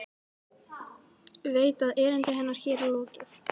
Veit að erindi hennar hér er lokið.